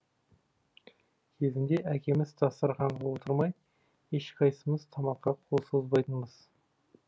кезінде әкеміз дастарқанға отырмай ешқайсымыз тамаққа қол созбайтынбыз